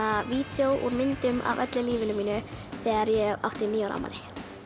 vídeó úr myndum af öllu lífinu mínu þegar ég átti níu ár afmæli